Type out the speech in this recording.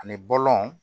Ani bɔlɔn